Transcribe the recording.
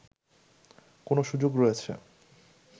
কোন সুযোগ রয়েছে